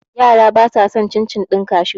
Yara ba sa san cin - cin ɗin kashu